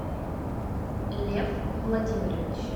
лев владимирович